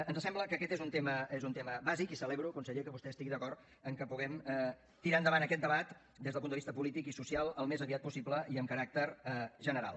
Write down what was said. ens sembla que aquest és un tema bàsic i celebro conseller que vostè estigui d’acord en que puguem tirar endavant aquest debat des del punt de vista polític i social al més aviat possible i amb caràcter general